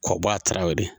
K'o bɔ a taraw de